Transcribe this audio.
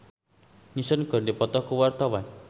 Virnie Ismail jeung Liam Neeson keur dipoto ku wartawan